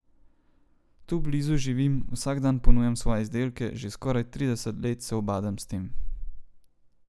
Tu blizu živim, vsak dan ponujam svoje izdelke, že skoraj trideset let se ubadam s tem.